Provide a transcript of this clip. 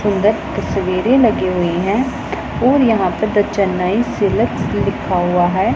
अंदर तस्वीरें लगी हुई है और यहां पे द चेन्नई सिलेक्स लिखा हुआ है।